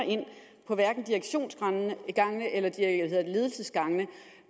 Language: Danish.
at direktionsgangene eller ledelsesgangene